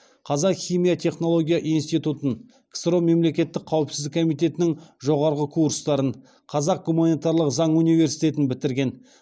қазақ химия технология институтын ксро мемлекеттік қауіпсіздік комитетінің жоғарғы курстарын қазақ гуманитарлық заң университетін бітірген